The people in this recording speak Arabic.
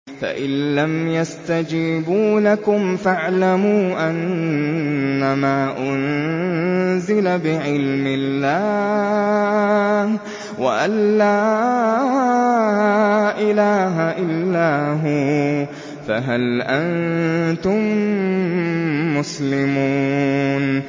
فَإِلَّمْ يَسْتَجِيبُوا لَكُمْ فَاعْلَمُوا أَنَّمَا أُنزِلَ بِعِلْمِ اللَّهِ وَأَن لَّا إِلَٰهَ إِلَّا هُوَ ۖ فَهَلْ أَنتُم مُّسْلِمُونَ